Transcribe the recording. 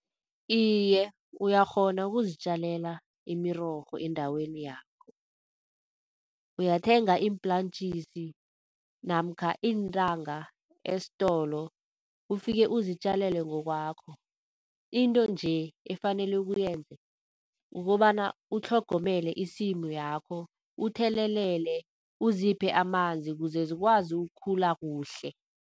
Iye, uyakghona ukuzitjalela imirorho endaweni yakho. Uyathenga iimplantjisi namkha iintanga estolo, ufike uzitjalele ngokwakho. Into nje efanele uyenze kukobana utlhogomele isimu yakho, uthelele uziphe amanzi kuzezikwazi ukukhula kuhle.